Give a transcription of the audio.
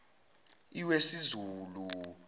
iwesizulu